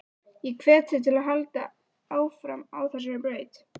Ég hvet þig til að halda áfram á þessari braut.